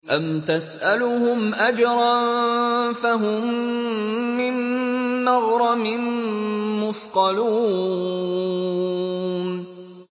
أَمْ تَسْأَلُهُمْ أَجْرًا فَهُم مِّن مَّغْرَمٍ مُّثْقَلُونَ